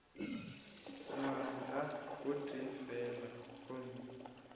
ngwaga o tee fela gomme